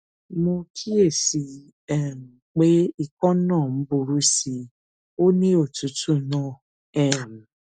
mo kíyèsí i um pé ikọ náà ń burú sí i ó ní òtútù náà um